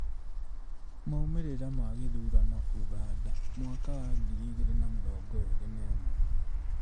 Maumĩrĩra ma gĩthurano Ũganda mwaka wa ngiri igĩrĩ na mĩrongo ĩrĩ na ĩmwe